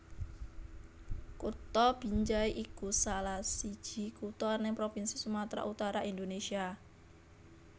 Kutha Binjai iku salahsiji kutha neng provinsi Sumatra Utara Indonésia